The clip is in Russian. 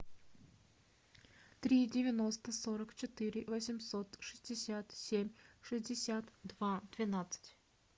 три девяносто сорок четыре восемьсот шестьдесят семь шестьдесят два двенадцать